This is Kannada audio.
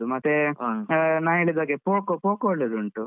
ಮತ್ತೆ ನಾನು ಹೇಳಿದಾಗೆ Poco Poco ಒಳ್ಳೆದುಂಟು.